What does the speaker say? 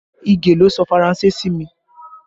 Ige ló sọ Faranse sí mi